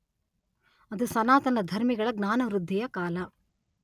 ಅದು ಸನಾತನ ಧರ್ಮಿಗಳ ಜ್ಞಾನವೃದ್ಧಿಯ ಕಾಲ.